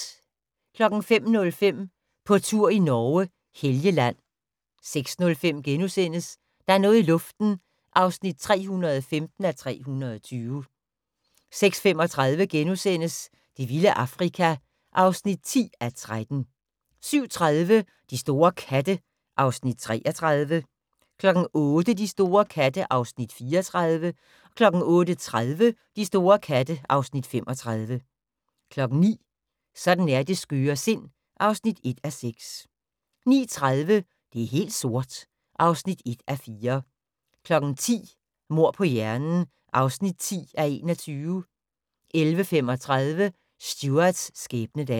05:05: På tur i Norge: Helgeland 06:05: Der er noget i luften (315:320)* 06:35: Det vilde Afrika (10:13)* 07:30: De store katte (Afs. 33) 08:00: De store katte (Afs. 34) 08:30: De store katte (Afs. 35) 09:00: Sådan er det skøre sind (1:6) 09:30: Det er helt sort (1:4) 10:00: Mord på hjernen (10:21) 11:35: Stuarts skæbnedag